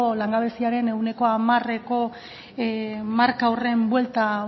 langabeziaren ehuneko hamareko marka horren buelta